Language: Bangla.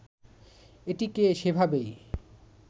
এটিকে সেভাবেই